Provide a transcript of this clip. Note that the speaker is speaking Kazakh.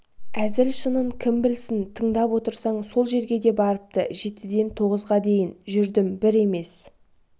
әзіл-шынын кім білсін тыңдап отырсаң сол жерге де барыпты жетіден тоғызға дейін жүрдім бір емес